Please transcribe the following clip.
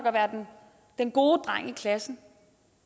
og være den gode dreng i klassen